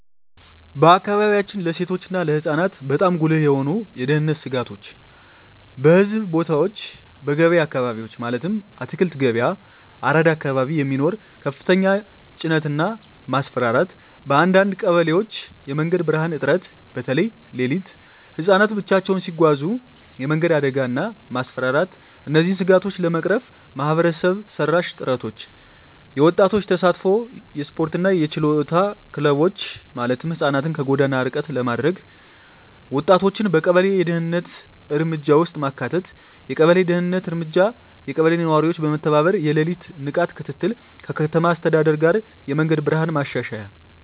በአካባቢያችን ለሴቶች እና ለህፃናት በጣም ጉልህ የሆኑ የደህንነት ስጋቶች :- በሕዝብ ቦታዎች *በገበያ አካባቢዎች (አትክልት ገበያ፣ አራዳ አካባቢ) የሚኖር ከፍተኛ ተጭነት እና ማስፈራራት *በአንዳንድ ቀበሌዎች የመንገድ ብርሃን እጥረት (በተለይ ሌሊት) *ህፃናት ብቻቸውን ሲጓዙ የመንገድ አደጋ እና ማስፈራራት እነዚህን ስጋቶች ለመቅረፍ ማህበረሰብ መራሽ ጥረቶች :- የወጣቶች ተሳትፎ *የስፖርትና የችሎታ ክለቦች (ህፃናትን ከጎዳና ርቀት ለማድረግ) *ወጣቶችን በቀበሌ የደህንነት እርምጃ ውስጥ ማካተት የቀበሌ ደህንነት እርምጃ *የቀበሌ ነዋሪዎች በመተባበር የሌሊት ንቃት ክትትል *ከከተማ አስተዳደር ጋር የመንገድ ብርሃን ማሻሻያ